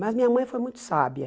Mas minha mãe foi muito sábia.